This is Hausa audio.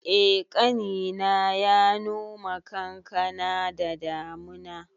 Eh, ƙanina ya noma kankana da damuna